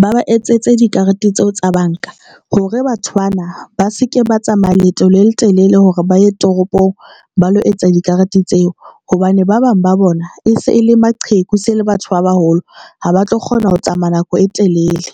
ba ba etsetse dikarete tseo tsa banka hore batho bana ba se ke ba tsamaya leeto le letelele hore ba ye toropong ba lo etsa dikarete tseo hobane ba bang ba bona e se e le maqheku se le batho ba baholo ha ba tlo kgona ho tsamaya nako e telele.